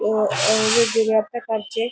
ओह ah वेगवेगळ्या प्रकारचे--